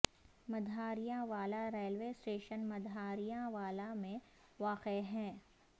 Madhariyan Wala railway station Madhariyan Wala میں واقع ہے